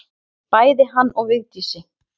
Bæði hann og Vigdísi.